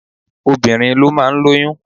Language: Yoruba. Obìnrin ló máa ń lóyún.